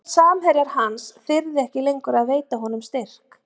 Hvað ef samherjar hans þyrði ekki lengur að veita honum styrk?